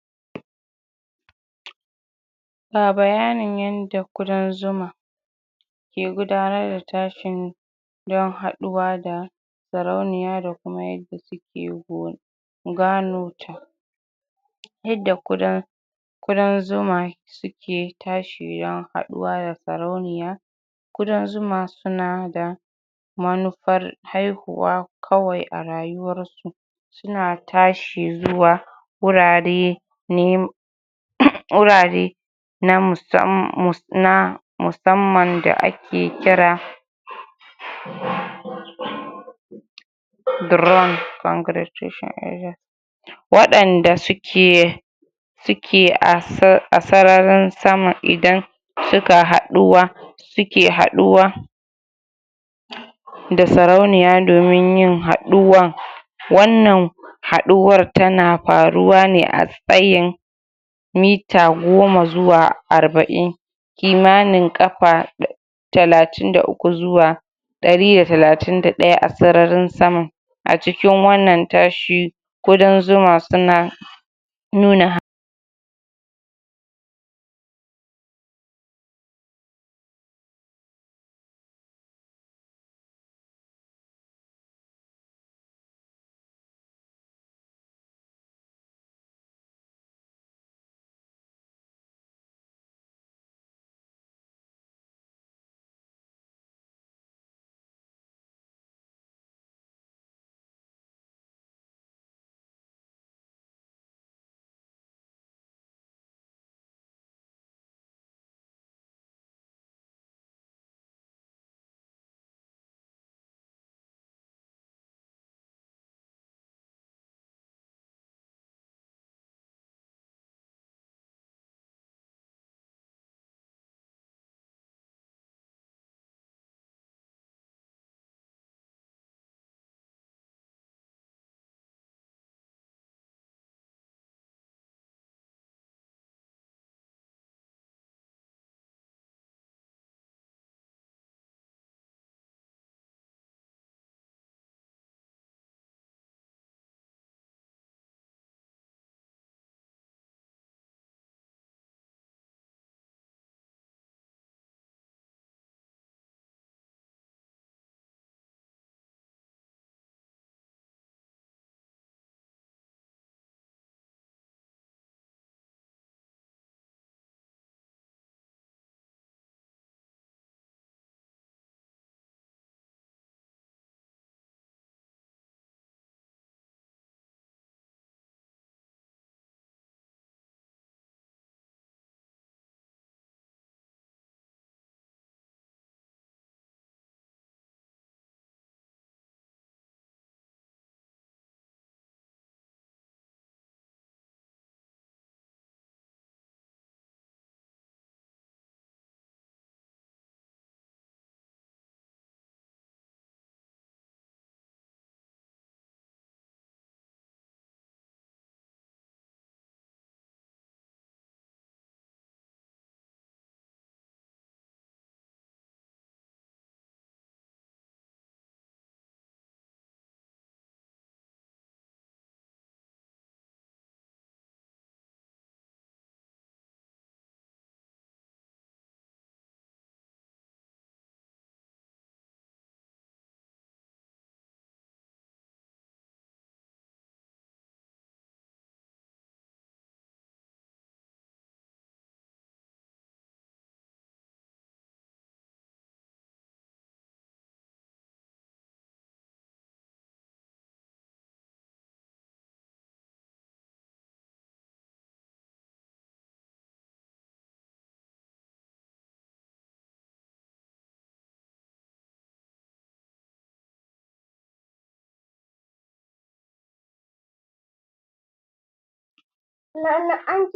ga bayanin yanda ƙudan zuma ke gudanar da tashin don haɗuwa da sarauniya da kuma yadda suke go gano ta yadda ƙudan ƙudan zuma suke tashi don haɗuwa da sarauniya ƙudan zuma suna da manufar haihuwa kawai a rayuwar su suna tashi zuwa wurare um wurare na musamman da ake kira waɗanda suke suke um a sararin sama idan suka haɗuwa suke haɗuwa da sarauniya domin yin haɗuwan wannan haɗuwar tana faruwa ne a tsayin mita goma zuwa arba'in kimanin ƙafa um talatin da uku zuwa ɗari da talatin da ɗaya a sararin sama a cikin wannan tashi ƙudan zuma suna nuna